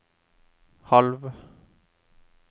halv